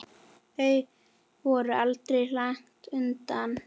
Þau voru aldrei langt undan.